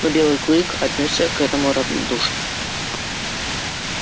но белый клык отнёсся к этому равнодушно